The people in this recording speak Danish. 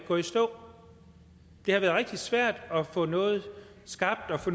gå i stå det har været rigtig svært at få noget skabt og få